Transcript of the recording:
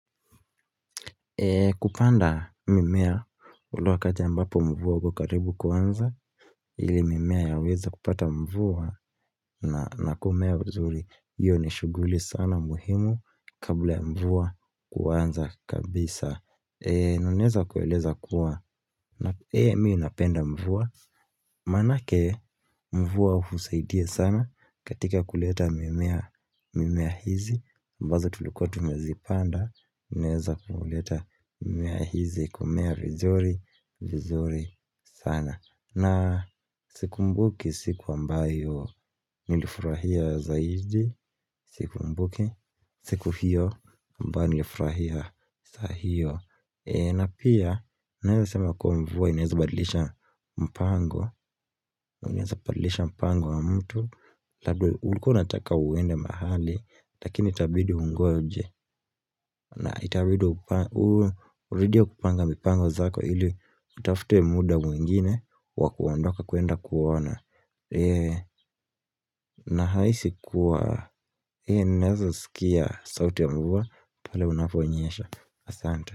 Kupanda mimea ule wakati ambapo mvua ukokaribu kuanza ile mimea yaweza kupata mvua na kumea vizuri hiyo ni shughuli sana muhimu kabla mvua kuanza kabisa. Naeza kueleza kuwa Eeh mimi napenda mvua Manake mvua husaidia sana katika kuleta mimea mimea hizi Bazo tulukia tumezipanda unaweza kuleta mimea hizi kumea vizuri vizuri sana na sikumbuki siku ambayo nilifurahia zaidi Sikumbuki siku hiyo ambayo nilifurahia saa hiyo na pia, naeza sema kwa mvua ineazabadilisha mpango Ineazabadilisha mpango wa mtu Labdo uliko nataka uende mahali Lakini itabidi ungoje na itabidi urudie kupanga mipango zako ili utafute muda mwingine wakuandoka kwenda kuuona na hisi kuwa, naweza sikia sauti ya mvua pale unaponyesha Asante.